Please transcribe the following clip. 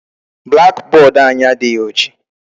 Black board anyị adịghị oji.